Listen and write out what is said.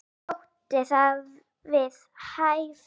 Okkur þótti það við hæfi.